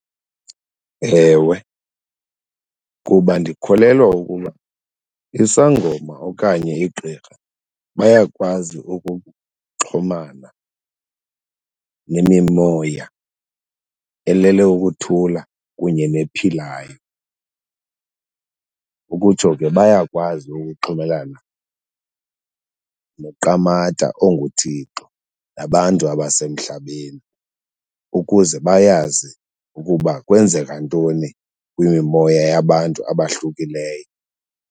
Ewe, kuba ndikholelwa ukuba isangoma okanye igqirha bayakwazi ukuxhumana nemimoya elele ukuthula kunye nephilayo. Ukutsho ke bayakwazi ukuxhumelana noQamata onguThixo nabantu abasemhlabeni ukuze bayazi ukuba kwenzeka ntoni kwimimoya yabantu abahlukileyo.